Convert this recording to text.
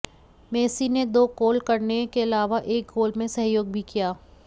Messi ने दो goal करने के अलावा एक गोल में सहयोग भी किया